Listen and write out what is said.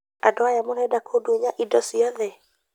Andũ aya murenda kũndunya indo cioothe